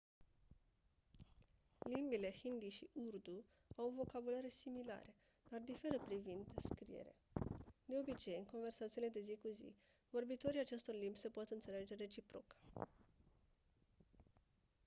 limbile hindi și urdu au vocabulare similare dar diferă privind scriere de obicei în conversațiile de zi cu zi vorbitorii acestor limbi se pot înțelege reciproc